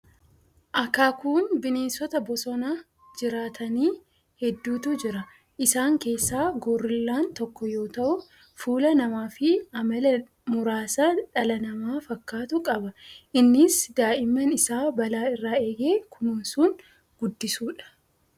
Akaakuun bineensota bosona jiraatanii hedduutu jira. Isaan keessaa Goorillaan tokko yoo ta'u, fuula namaa fi amala muraasa dhala namaa fakkaatu qaba. Innis daa'imman isaa balaa irraa eegee kunuunsuun guddisuu dha.